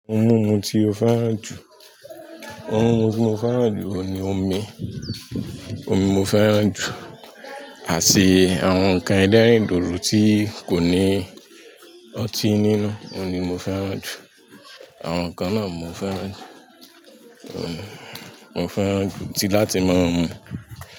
Ohun mímu tí mo fẹ́ràn jù, ohun mimu ti mo fẹ́ràn ju oun ni omi, omi mo fẹ́ràn jù, àti àwọn ǹkan ẹlẹrin dodo tí kò ní ọtí nínú, òun ni mo fẹ́ràn jù, àwọn ǹnkan náà mo fẹ́ràn jù, mo fẹ́ràn jù tí láti máa ń mu.